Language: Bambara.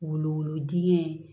Wolo dingɛ